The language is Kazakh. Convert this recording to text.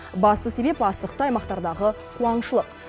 басты себеп астықты аймақтардағы қуаңшылық